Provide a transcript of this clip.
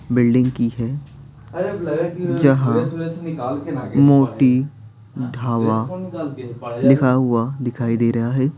Building की है जहां मोटी ढावा लिखा हुआ दिखाई दे रहा है।